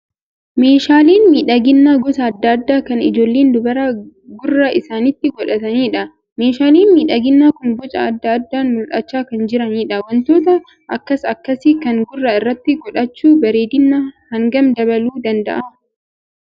Meeshaaleen miidhaginaa gosa adda addaa kan ijoolleen dubaraa gurra isaniitti godhataniidha. Meeshaaleen miidhagina kun boca adda addaan mul'achaa kan jiraniidha. Wantoota akkas akkasii kana gurra irratti godhachuu bareedina hangam dabaluu danda'a?